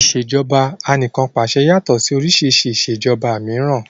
Ìṣèjoba Anìkànpàṣẹ yàtọ̀ sí oríṣi ìṣèjoba mìíràn